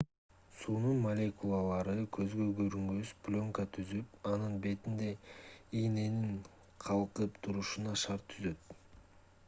суунун молекулалары көзгө көрүнгүс пленка түзүп анын бетинде ийненин калкып турушуна шарт түзөт